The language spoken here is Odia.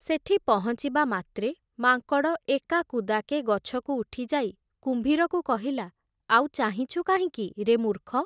ସେଠି ପହଞ୍ଚିବାମାତ୍ରେ ମାଙ୍କଡ଼ ଏକା କୁଦାକେ ଗଛକୁ ଉଠିଯାଇ କୁମ୍ଭୀରକୁ କହିଲା, ଆଉ ଚାହିଁଚୁ କାହିଁକି ରେ ମୂର୍ଖ ।